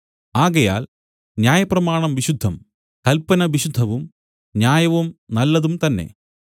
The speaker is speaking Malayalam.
ആകയാൽ ന്യായപ്രമാണം വിശുദ്ധം കല്പന വിശുദ്ധവും ന്യായവും നല്ലതും തന്നേ